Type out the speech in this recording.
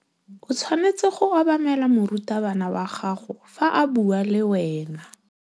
O tshwanetse go obamela morutabana wa gago fa a bua le wena.